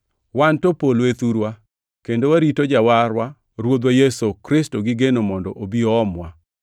Wan to polo e thurwa, kendo warito Jawarwa Ruoth Yesu Kristo gi geno mondo obi oomwa.